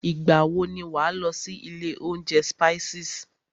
Ìgbà wọ ni wà á lọ sí ilé oúnjẹ Spices?